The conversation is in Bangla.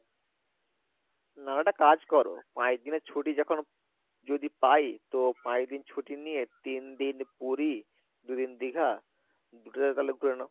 নাহলে একটা কাজ করো পাঁচদিনের ছুটি যখন যদি পাই তো পাঁচদিন ছুটি নিয়ে তিন দিন পুরি দু দিন দীঘা দুটাতেই তালে ঘুরে নাও